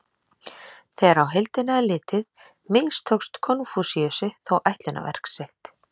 Þegar á heildina er litið mistókst Konfúsíusi þó ætlunarverk sitt.